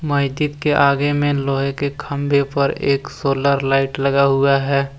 मस्जिद के आगे में लोहे के खंभे पर एक सोलर लाइट लगा हुआ है।